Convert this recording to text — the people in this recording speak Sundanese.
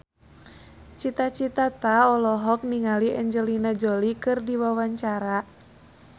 Cita Citata olohok ningali Angelina Jolie keur diwawancara